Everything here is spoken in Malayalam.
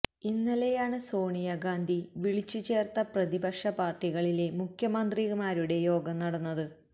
ഇന്നലെയാണ് സോണിയ ഗാന്ധി വിളിച്ചു ചേര്ത്ത പ്രതിപക്ഷ പാര്ട്ടികളിലെ മുഖ്യമന്ത്രിമാരുടെ യോഗം നടന്നത്